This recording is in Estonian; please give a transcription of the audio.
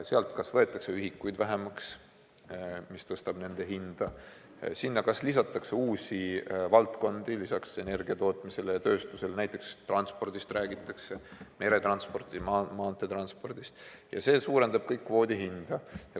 Sealt kas võetakse ühikuid vähemaks, mis tõstab nende hinda, sinna kas lisatakse uusi valdkondi lisaks energiatootmisele ja tööstusele, näiteks transpordist räägitakse, meretranspordist, maanteetranspordist ja see kõik suurendab kvoodi hinda.